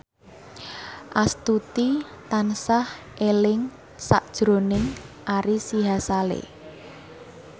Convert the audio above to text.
Astuti tansah eling sakjroning Ari Sihasale